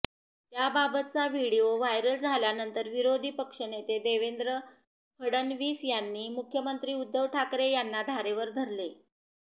त्याबाबतचा video viral झाल्यानंतर विरोधी पक्षनेते देवेंद्र फडणवीस यांनी मुख्यमंत्री उद्धव ठाकरे यांना धारेवर धरले